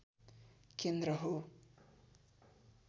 केन्द्र हो